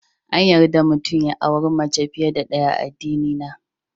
Ya mutum ya auri mace fiye da ɗaya a addinina.